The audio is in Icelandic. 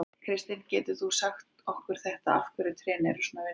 Kristinn, getur þú sagt okkur af hverju þetta tré er svona vinsælt?